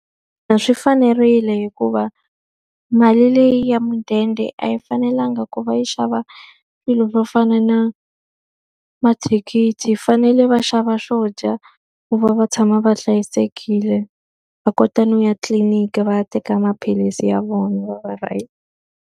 Swi fanerile hikuva mali leyi ya mudende a yi fanelanga ku va yi xava swilo swo fana na mathikithi, yi fanele va xava swo dya ku va va tshama va hlayisekile. Va kota no ya tliliniki va ya teka maphilisi ya vona va va right.